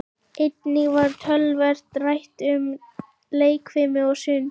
Einnig var töluvert rætt um leikfimi og sund.